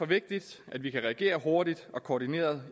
vigtigt at vi kan reagere hurtigt og koordineret